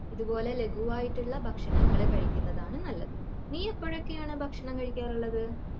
അതുപോലെ ലഖുവായിട്ടുള്ള ഭക്ഷണങ്ങൾ കഴിക്കുന്നതാണ് നല്ലത്. നീ എപ്പോഴൊക്കെയാണ് ഭക്ഷണം കഴിക്കാറുള്ളത്?